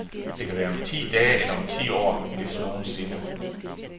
Det kan være om ti dage eller om ti år, hvis nogensinde.